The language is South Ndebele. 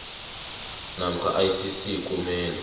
namkha icc kumele